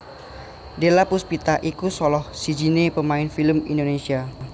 Della Puspita iku salah sijiné pemain film Indonesia